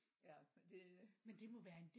ja men det